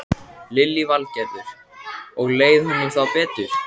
Lillý Valgerður: Og leið honum þá betur?